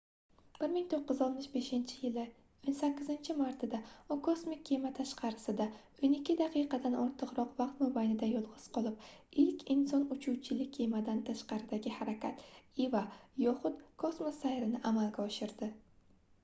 1965-yilning 18-martida u kosmik kema tashqarisida o'n ikki daqiqadan ortiqroq vaqt mobaynida yolg'iz qolib ilk inson uchuvchili kemadan tashqaridagi harakat eva yoxud kosmos sayri"ni amalga oshirdi